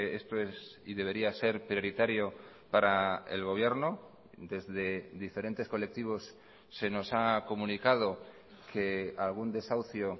esto es y debería ser prioritario para el gobierno desde diferentes colectivos se nos ha comunicado que algún desahucio